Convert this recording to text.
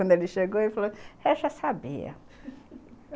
Quando ele chegou, ele falou, eu já sabia.